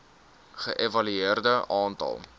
ge evalueer aantal